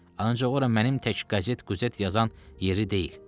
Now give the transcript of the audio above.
Ancaq ora mənim tək qəzet quzet yazan yeri deyil.